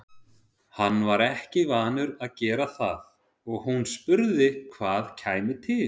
Hann var ekki vanur að gera það og hún spurði hvað kæmi til.